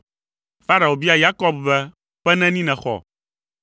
Farao bia Yakob be, “Ƒe neni nèxɔ?”